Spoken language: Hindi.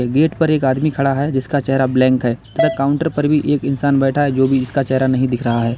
गेट पर एक आदमी खड़ा है जिसका चेहरा ब्लैंक है तथा काउंटर पर भी एक इंसान बैठा है जो भी इसका चेहरा नहीं दिख रहा है।